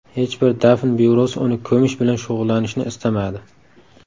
Hech bir dafn byurosi uni ko‘mish bilan shug‘ullanishni istamadi.